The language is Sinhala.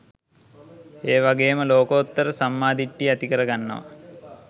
ඒ වගේම ලෝකෝත්තර සම්මා දිට්ඨිය ඇති කර ගන්නව.